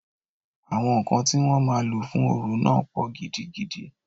Àwọn ǹkan tí wọ́n máa lò fún orò náà pọ̀ gidigidi.